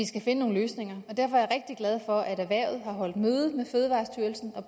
skal finde nogle løsninger derfor er jeg rigtig glad for at erhvervet har holdt møde med fødevarestyrelsen og